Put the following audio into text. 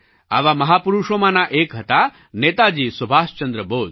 આવા મહાપુરુષોમાંના એક હતા નેતાજી સુભાષચંદ્ર બોઝ